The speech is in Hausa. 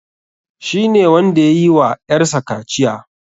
Shi ne wanda yayi wa ƴar sa kaciya.